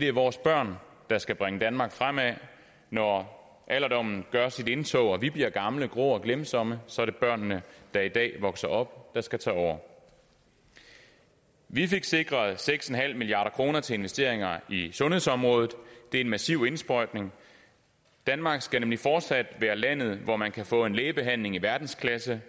det er vores børn der skal bringe danmark fremad når alderdommen gør sit indtog og vi bliver gamle grå og glemsomme så er det børnene der i dag vokser op der skal tage over vi fik sikret seks milliard kroner til investeringer i sundhedsområdet og det er en massiv indsprøjtning danmark skal nemlig fortsat være landet hvor man kan få en lægebehandling i verdensklasse